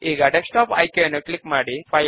ఇప్పుడు next button పైన click చేద్దాము